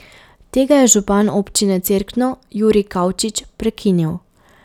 Tega je župan Občine Cerkno Jurij Kavčič prekinil.